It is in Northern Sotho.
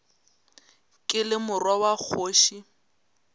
ke le morwa wa kgoši